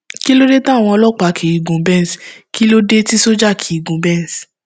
kí ló dé táwọn ọlọpàá kì í gun benz kí ló dé tí sójà kì í gun benz